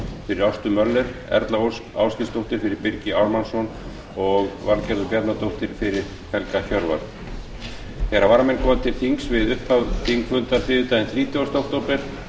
fyrir ástu möller erla ósk ásgeirsdóttir fyrir birgi ármannsson og valgerður bjarnadóttir fyrir helga hjörvar þegar varamenn koma til þings við upphaf þingfundar þriðjudaginn þrítugasta október